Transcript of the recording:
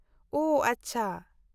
ᱳ, ᱟᱪᱪᱷᱟ ᱾